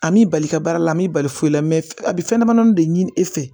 An m'i bali i ka baara la a m'i bali foyi la a bɛ fɛn dama dama de ɲini e fɛ